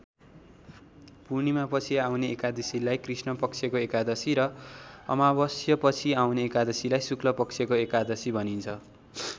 पूर्णिमापछि आउने एकादशीलाई कृष्णपक्षको एकादशी र अमावस्यापछि आउने एकादशीलाई शुक्लपक्षको एकादशी भनिन्छ।